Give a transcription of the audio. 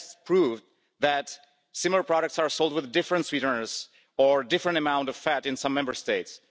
Tests prove that similar products are sold with different sweeteners or different amount of fat in some Member States.